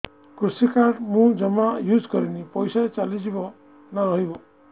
କୃଷି କାର୍ଡ ମୁଁ ଜମା ୟୁଜ଼ କରିନି ପଇସା ଚାଲିଯିବ ନା ରହିବ